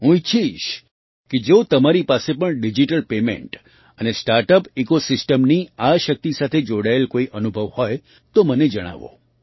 હું ઈચ્છીશ કે જો તમારી પાસે પણ ડિજિટલ પેમેન્ટ અને સ્ટાર્ટ અપ ઇકૉ સિસ્ટમની આ શક્તિ સાથે જોડાયેલા કોઈ અનુભવ હોય તો તેમને જણાવો